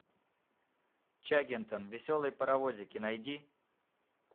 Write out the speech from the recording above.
чаггингтон веселые паровозики найди